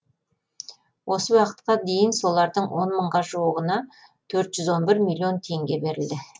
осы уақытқа дейін солардың он мыңға жуығына төрт жүз он бір миллион теңге берілді